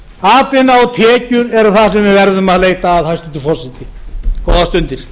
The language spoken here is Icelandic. atvinna og tekjur eru það sem við verðum að leita að hæstvirtur forseti góðar stundir